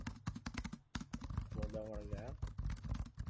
પછી દમણ ગયા એમ?